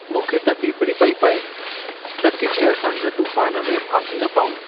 मूंखे त फिफिड़ी पेई पए त किथे असां हिन तूफ़ान में फासी न पऊं।